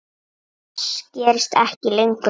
Þess gerist ekki lengur þörf.